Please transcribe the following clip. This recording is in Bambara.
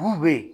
Bu bɛ yen